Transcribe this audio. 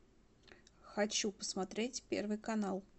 хочу посмотреть первый канал